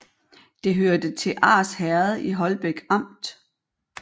Det hørte til Ars Herred i Holbæk Amt